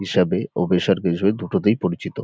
হিসাবে ও বেসরকারি হিসাবে দুটোতেই পরিচিত।